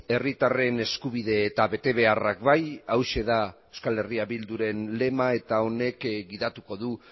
herritarren eskubide eta betebeharrak bai hauxe da euskal herria bilduren lema eta honek gidatuko du